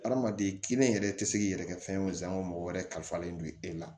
Hadamaden kelen yɛrɛ tɛ se k'i yɛrɛ kɛ fɛn wo san ko mɔgɔ wɛrɛ kalifalen don e la